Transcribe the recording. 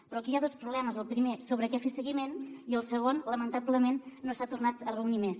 però aquí hi ha dos problemes el primer sobre què fer seguiment i el segon lamentablement no s’ha tornat a reunir més